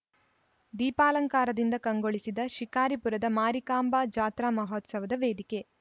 ದೀಪಾಲಂಕಾರದಿಂದ ಕಂಗೊಳಿಸಿದ ಶಿಕಾರಿಪುರದ ಮಾರಿಕಾಂಬಾ ಜಾತ್ರಾ ಮಹೋತ್ಸವದ ವೇದಿಕೆ